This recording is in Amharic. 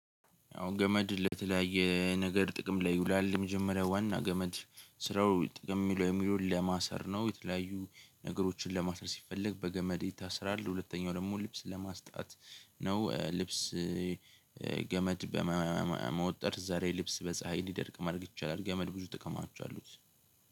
አዎ ገመድ ለተለያየ ነገር ጥቅም ላይ ይውላል የመጀመሪያ ዋና ገመድ ስራው ጥቅም ላይ የሚለውለው ለማሰር ነው የተለያዩ ነገሮችን ለማሰር ሲፈለግ በገመድ ይታሰራል ሁለተኛው ደግሞ ልብስ ለማስጣት ነው። ልብስ ገመድ በመወጠር እዛ ላይ ልብስ በፀሀይ እንዲደርቅ ማድረግ ይቻላል። ገመድ ብዙ ጥቅሞች አሉት።